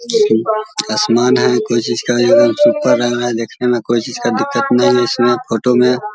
आसमान है कोई चीज का यहां सुपर लग रहा है देखने में कोई चीज का दिक्कत नही इसमें फोटो में ।